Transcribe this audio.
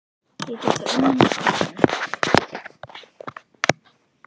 Ég get þá unnið með skólanum.